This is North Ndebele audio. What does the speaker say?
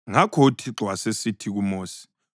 Ngakho uThixo wasesithi kuMosi: